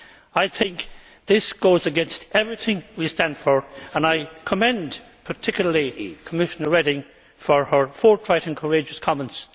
I think this goes against everything we stand for, and I commend particularly Commissioner Reding for her forthright and courageous comments.